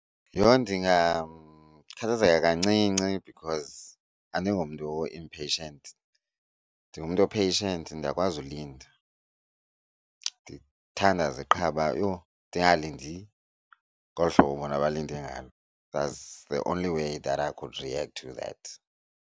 Yho, ndingakhathazeka kancinci because andingomntu o-impatient ndingumntu o-patient, ndiyakwazi ulinda. Ndithandaze qha uba yho ndingalindi ngolu hlobo bona balinde ngalo. That's the only way that I could react to that.